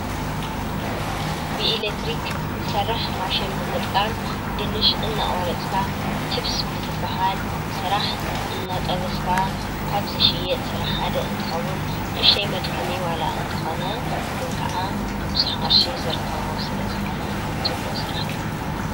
ብኤለክትሪክ ዝሰርሕ ማሸን ብምጥቃብ ድንሽ እናቆረፅካ ችፕስ ብዝብሃል ስራሕ እንጠበስካ ካብ ዝሽየጥ ስራሕ ሓደ እንትኸውን ንኡሽተይ መድከሚ ዋላ እኳ እንተኾነ ግን ከዓ ብዙሕ ቅርሺ ዝርከቦ ስለዝኾነ ፅቡቕ ስራሕ እዩ፡፡